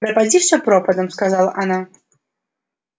пропади всё пропадом выкрикнула она